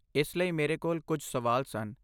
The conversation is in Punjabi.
ਇਸ ਲਈ ਮੇਰੇ ਕੋਲ ਕੁਝ ਸਵਾਲ ਸਨ।